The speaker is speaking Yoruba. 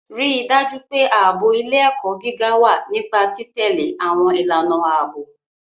Rí i dájú pé ààbò ilé-ẹ̀kọ́ gíga wà nípa títẹ̀lé àwọn ìlànà ààbò.